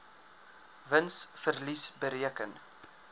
wins verlies bereken